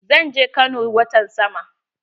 Zan je Kano watan sama.